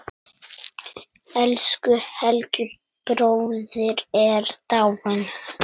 Elsku Helgi bróðir er dáinn.